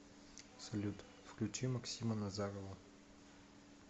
салют включи максима назарова